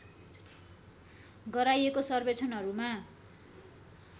गराइएको सर्वेक्षणहरूमा